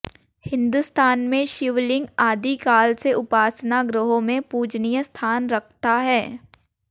हिंदुस्तान में शिवलिंग आदि काल से उपासना गृहों में पूजनीय स्थान रखता है